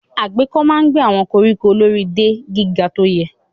Agéko máa ń gé àwọn koríko lórí de gíga tó yẹ.